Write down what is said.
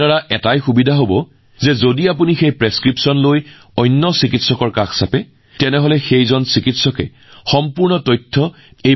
ইয়াৰ এটা সুবিধা হব যে সেই স্লিপখন লৈ যদি আপুনি আন এজন চিকিৎসকৰ ওচৰলৈ যায় তেন্তে সেই স্লিপখনৰ পৰাই চিকিৎসকে ইয়াৰ সম্পূৰ্ণ তথ্য লাভ কৰিব